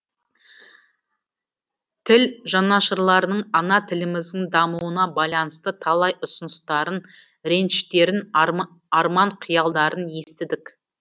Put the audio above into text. тіл жанашырларының ана тіліміздің дамуына байланысты талай ұсыныстарын реніштерін арман қиялдарын естідік